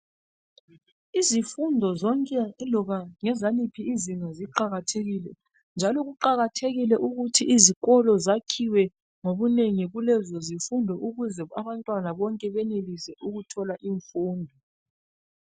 Izifundo zonke iloba ngezaliphi izinga ziqakathekile njalo kuqakathekile ukuthi izikolo zakhiwe ngobunengi kulezo zifundo ukuze abantwana bonke benelise ukuthola imfundo